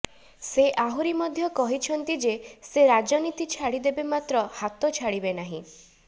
ସେ ଆହୁରି ମଧ୍ୟ କହିଛନ୍ତି ଯେ ସେ ରାଜନୀତି ଛାଡି ଦେବେ ମାତ୍ର ହାତ ଛାଡିବେ ନାହିଁ